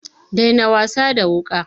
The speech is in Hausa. Daina wasa da wuƙa!